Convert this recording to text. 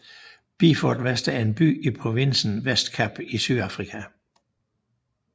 Beaufort West er en by i provinsen Western Cape i Sydafrika